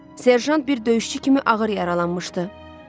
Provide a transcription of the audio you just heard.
Serjant bir döyüşçü kimi ağır yaralanmışdı.